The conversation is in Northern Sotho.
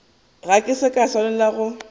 ga se ka swanela go